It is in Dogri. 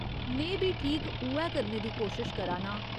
में बी ठीक उ'ऐ करने दी कोशश करा नां।